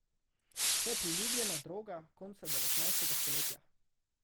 To je priljubljena droga konca devetnajstega stoletja.